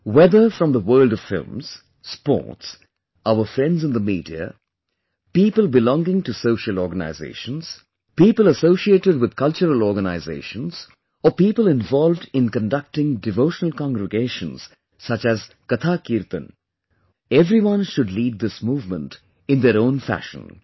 Whether it be from the world of films, sports, our friends in the media, people belonging to social organizations, people associated with cultural organizations or people involved in conducting devotional congregations such as Katha Kirtan, everyone should lead this movement in their own fashion